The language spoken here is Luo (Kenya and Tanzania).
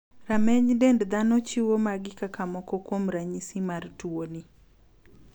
Rameny dend dhano chiwo magi kaka moko kuom ranyisi mar tuoni.